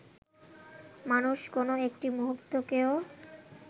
মানুষ কোনো একটি মুহূর্তকেও